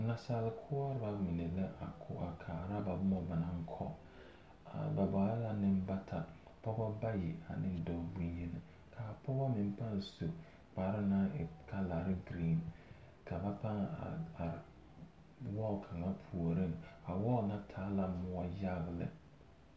Naasale koɔreba mine la a ko. kaara ba boma ba naŋ kɔ. Ba bare nembata pɔge bayi ane dɔɔ boŋyeni. Ka a pɔge meŋ pãã su kpare ka calare e giriiŋ ka ba pãã a are wɔɔl kaŋa puoriŋ. A wɔɔl na taa la moɔ yaga lɛ.